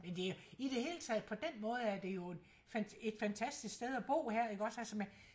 Men det jo i det hele taget på dén måde er det jo et et fantastisk sted at bo altså man